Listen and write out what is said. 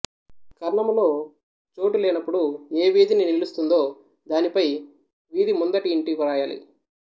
కర్ణములో చోటు లేనప్పుడు ఏ వీధిని నిలుస్తుందో దానిపై వీధి ముందటి యింటి వ్రాయాలి